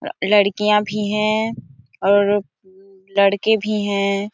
लड़किया भी है और लड़के भी है।